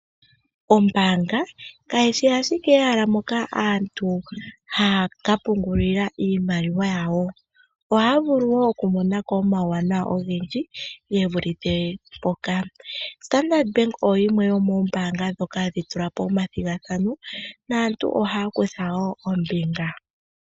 Ombaanga kayishi ashike ehala moka aantu haa ka pungulila iimaliwa yawo, ohaa vulu woo kumonako omauwana ogendji ge vulithe mpoka. Standard Bank oyo yimwe yomombaanga dhoka hadhi tulapo omathigathano naantu ohaa kutha woo ombinga.